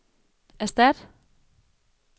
erstat